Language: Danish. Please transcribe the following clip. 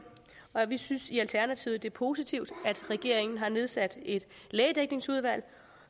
og vi synes i alternativet det er positivt at regeringen har nedsat et lægedækningsudvalg og